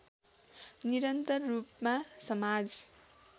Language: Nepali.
निरन्तर रूपमा समाज